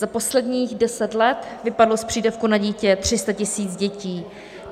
Za posledních deset let vypadlo z přídavku na dítě 300 tisíc dětí.